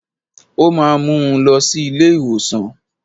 Ó máa mú un lọ sí ilé ìwòsàn